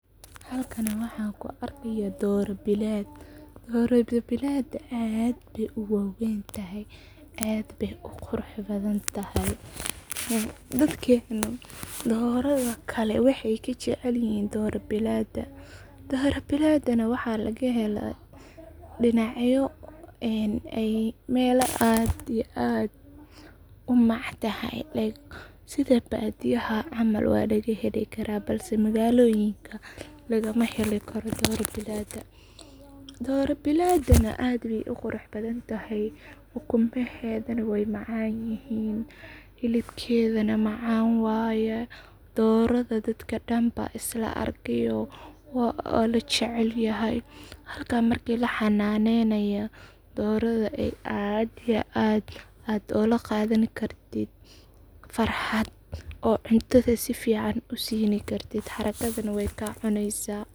Halkani waxan kuu arkaya doro bilad, doro bilada aad bay uwaweyntahay, aad bay uqurax badanyahay dadkena doroda kale waxay kajecelyihin doro bilada, dora bilada nah waxa lagahela dinacyo, melo aad iyo aad umactahy like sidaa badiyaha camal walagahelikara balse magaloyinka lagamahelikaro, doro biladinah aad bay uqurax badantahay ukumaheda nah way macanyihin hilibkeda nah maacan waye doroda dadka dan baa islaa arkeyo walajecelyahay, hata marka laxananeynayo doroda aad iyo ad olaqadani kartit farxad, oo cuntada sifican usini kartit xarakada nah wayka cuneysa.